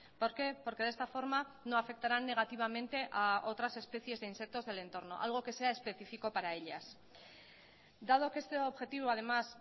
por qué porque de esta forma no afectarán negativamente a otras especies de insectos del entorno algo que sea específico para ellas dado que este objetivo además